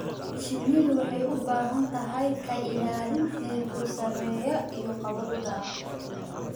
Shinnidu waxay u baahan tahay ka ilaalin heerkul sarreeya iyo qabow daran.